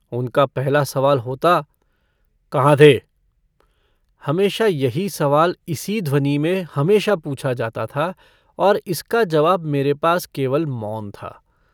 उनका पहला सवाल होता - कहाँ थे? हमेशा यही सवाल इसी ध्वनि में हमेशा पूछा जाता था और इसका जवाब मेरे पास केवल मौन था।